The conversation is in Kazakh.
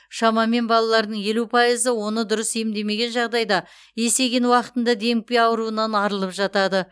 шамамен балалардың елу пайызы оны дұрыс емдемеген жағдайда есейген уақытында демікпе ауруынан арылып жатады